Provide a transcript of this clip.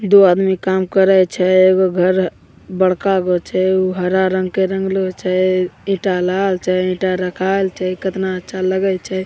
दो आदमी काम कराई छे एगो घर बड़का गो छे उ हरा रंग के रंगलों छे ईटा लाल छे ईटा रखाल छे कितना अच्छा लगई छे।